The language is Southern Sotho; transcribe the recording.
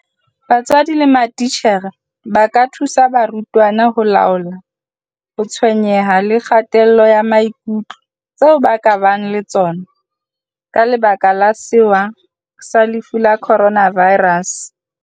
BATSWADI LE MATITJHERE ba ka thusa barutwana ho laola ho tshwenyeha le kgatello ya maikutlo tseo ba ka bang le tsona ka lebaka la sewa sa lefu la Coronavirus.